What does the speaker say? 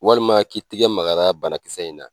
Walima k'i tigɛ magara banakisɛ in na